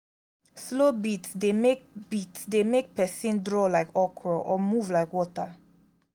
slow beats de make beats de make persin draw like okoro or move like water